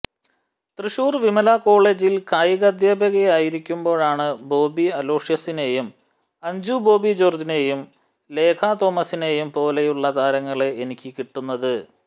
തൃശ്ശൂർ വിമല കോളേജിൽ കായികാധ്യാപകനായിരിക്കുമ്പോഴാണ് ബോബി അലോഷ്യസിനേയും അഞ്ജു ബോബി ജോർജിനേയും ലേഖ തോമസിനേയും പോലെയുള്ള താരങ്ങളെ എനിക്ക് കിട്ടുന്നത്